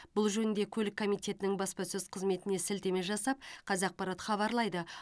бұл жөнінде көлік комитетінің баспасөз қызметіне сілтеме жасап қазақпарат хабарлайды